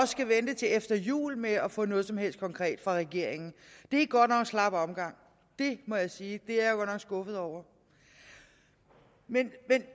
skal vente til efter jul med at få noget som helst konkret fra regeringen det er godt nok en slap omgang det må jeg sige det er jeg skuffet over men